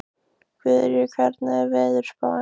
Guðríður, hvernig er veðurspáin?